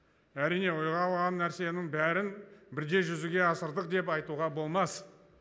әрине ойға алған нәрсенің бәрін бірдей жүзеге асырдық деп айтуға болмас